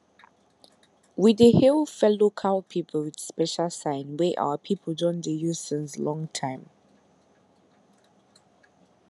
we dey hail fellow cow people with special sign wey our people don dey use since long time